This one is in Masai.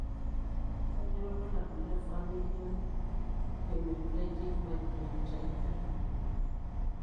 Kanyio ilulabul le Familial hemiplegic migraine type 3?